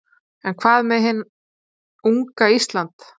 En hvað með hið unga Ísland?